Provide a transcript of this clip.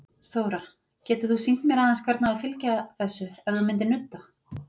Þóra: Getur þú sýnt mér aðeins hvernig á að fylgja þessu, ef þú myndir nudda?